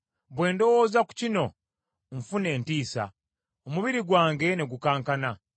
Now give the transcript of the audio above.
Bwe ndowooza ku kino, nfuna entiisa; omubiri gwange ne gukankana.